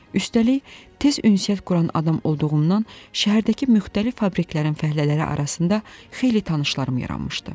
Üstəlik, tez ünsiyyət quran adam olduğumdan şəhərdəki müxtəlif fabriklərin fəhlələri arasında xeyli tanışlarım yaranmışdı.